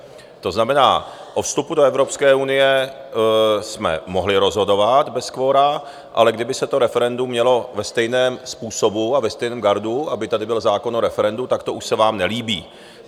To znamená, o vstupu do Evropské unie jsme mohli rozhodovat bez kvora, ale kdyby se to referendum mělo ve stejném způsobu a ve stejném gardu, aby tady byl zákon o referendu, tak to už se vám nelíbí.